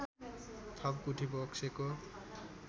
थप गुठी बक्सेको